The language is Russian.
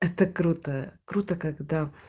это круто круто когда